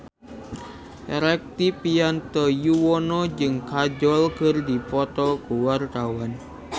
Rektivianto Yoewono jeung Kajol keur dipoto ku wartawan